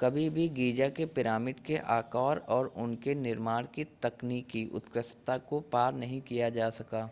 कभी भी गीज़ा के पिरामिड के आकार और उनके निर्माण की तकनीकी उत्कृष्टता को पार नहीं किया जा सका